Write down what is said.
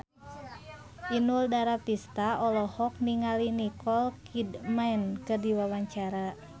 Inul Daratista olohok ningali Nicole Kidman keur diwawancara